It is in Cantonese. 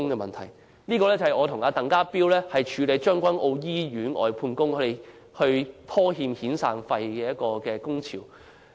報道關於我和鄧家彪處理將軍澳醫院外判工人被拖欠遣散費而發起的工潮。